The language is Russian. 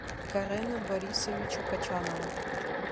карена борисовича кочанова